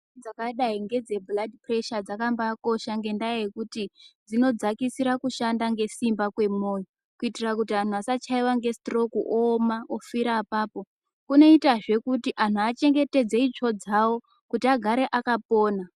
Dzakadai ngedze bhuladhi puresha dzakambaikosha ngendaa yekuti dzinodzakisira kushanda ngesimba kwemoyo kuitira kuti anhu asachayiwa nge situroku ooma ofira apapo kunoita zve kuti antu achengetdze itsvo dzawo kuti agare akapona.